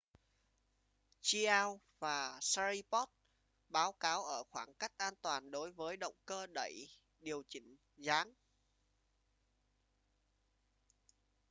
chiao và sharipov báo cáo ở khoảng cách an toàn đối với động cơ đẩy điều chỉnh dáng